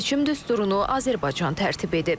Seçim düsturunu Azərbaycan tərtib edib.